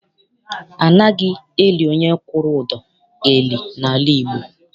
Anaghị eli onye kwụrụ ụdọ eli n'ala Igbo.